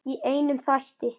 Í einum þætti!